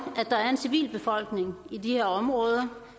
at der er en civilbefolkning i de her områder